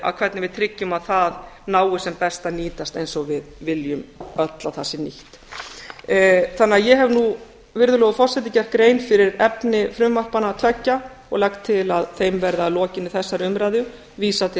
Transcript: hvernig við tryggjum að það nái sem best að nýtast eins og við viljum öll að það sé nýtt ég hef nú virðulegur forseti gert grein fyrir efni frumvarpanna tveggja og legg til að þeim verði að lokinni þessari umræðu vísað til